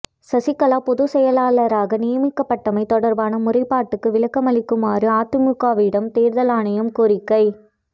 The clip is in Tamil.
சசிகலா பொதுச்செயலாளராக நியமிக்கப்பட்டமை தொடர்பான முறைப்பாட்டுக்கு விளக்கமளிக்குமாறு அதிமுகவிடம் தேர்தல் ஆணையம் கோரிக்கை